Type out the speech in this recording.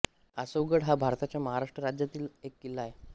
आसवगड हा भारताच्या महाराष्ट्र राज्यातील एक किल्ला आहे